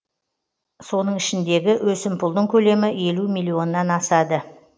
соның ішіндегі өсімпұлдың көлемі елу миллионнан асады